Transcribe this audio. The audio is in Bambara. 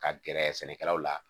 Ka gɛrɛ sɛnɛkɛlaw la